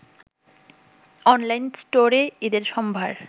online স্টোরে ঈদের সম্ভার